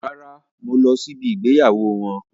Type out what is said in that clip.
Rárá, mo lọ sí ibí ìgbéyàwó wọn.